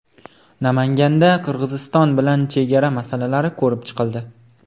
Namanganda Qirg‘iziston bilan chegara masalalari ko‘rib chiqildi.